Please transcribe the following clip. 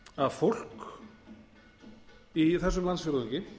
að fólk í þessum landsfjórðungi